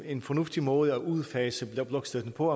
en fornuftig måde at udfase blokstøtten på